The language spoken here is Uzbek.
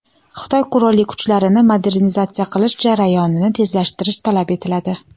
Xitoy qurolli kuchlarini modernizatsiya qilish jarayonini tezlashtirish talab etiladi.